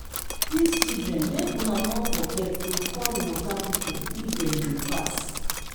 dis children make una no forget to call water people if dem dey pass